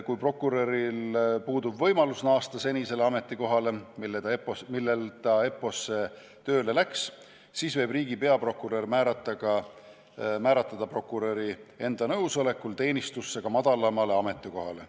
Kui prokuröril puudub võimalus naasta senisele ametikohale, kust ta EPPO-sse tööle läks, siis võib riigi peaprokurör määrata ta prokuröri enda nõusolekul teenistusse ka madalamale ametikohale.